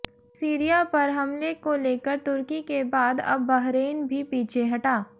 Syria पर हमले को लेकर तुर्की के बाद अब बहरैन भी पीछे हटा